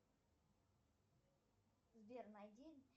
сбер найди